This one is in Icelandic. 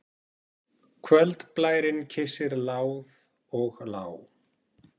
Kvöldblærinn kyssir láð og lá.